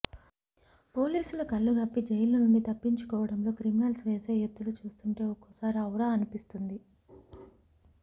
పోలీసుల కల్లుగప్పి జైలునుంచి తప్పించుకోవడంలో క్రిమినల్స్ వేసే ఎత్తులు చూస్తుంటే ఒక్కోసారి ఔరా అనిపిస్తుంది